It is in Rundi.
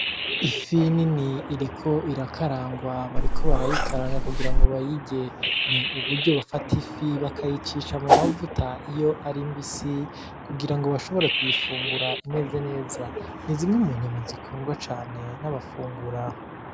Ifi nini iriko irakarangwa, bariko barayikaranga kugira ngo bayirye, ni uburyo bafata ifi bakayicisha mu mavuta iyo ari mbisi kugira ngo bashobore kuyifungura imeze neza, ni zimwe mu nyama zikundwa cane nabafungura.